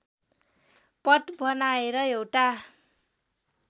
पट बनाएर एउटा